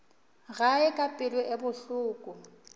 gae ka pelo ye bohloko